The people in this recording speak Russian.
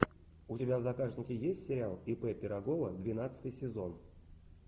у тебя в загашнике есть сериал ип пирогова двенадцатый сезон